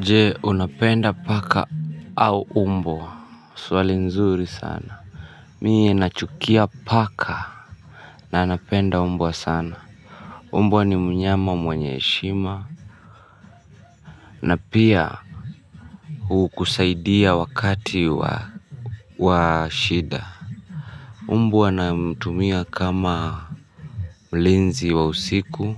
Jee unapenda paka au umbwa. Swali nzuri sana. Mie nachukia paka. Nanapenda umbwa sana. Umbwa ni mnyama mwanye heshima na pia kusaidia wakati wa wa shida. Umbwa namtumia kama mlinzi wa usiku